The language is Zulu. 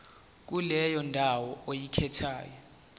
kuleyo ndawo oyikhethayo